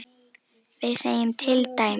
við segjum til dæmis